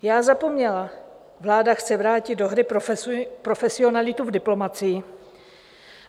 Já zapomněla, vláda chce vrátit do hry profesionalitu v diplomacii!